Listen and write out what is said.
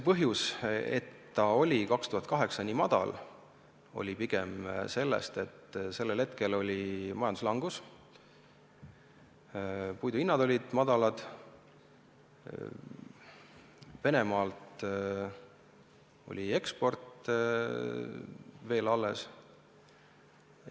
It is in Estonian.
Põhjus, miks 2008 oli raiemaht nii väike, on see, et sellel hetkel oli majanduslangus, puidu hinnad olid madalad, Venemaalt lähtuv eksport oli veel alles.